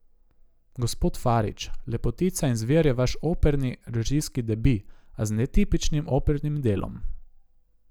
Gospod Farič, Lepotica in zver je vaš operni režijski debi, a z netipičnim opernim delom.